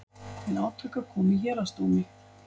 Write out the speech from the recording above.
Til átaka kom í héraðsdómi